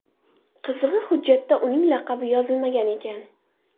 Qizig‘i, hujjatda uning laqabi yozilmagan ekan.